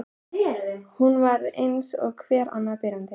Hún var eins og hver annar byrjandi.